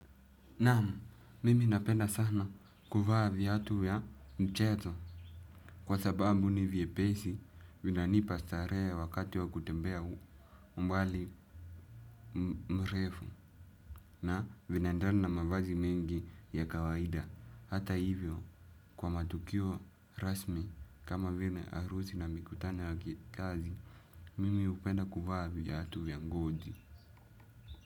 Naam, mimi napenda sana kuvaa viatu ya mcheto. Kwa sababu ni vyepesi, vinanipa starehe wakati wa kutembea umbali mrefu na vinaendana na mavazi mengi ya kawaida. Hata hivyo, kwa matukio rasmi kama vile harusi na mikutano ya kikazi, mimi hupenda kuvaa viatu vya ngozi.